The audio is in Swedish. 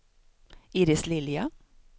Iris Lilja